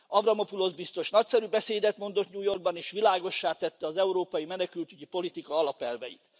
Avramopulosz biztos nagyszerű beszédet mondott New York ban, és világossá tette az európai menekültügyi politika alapelveit.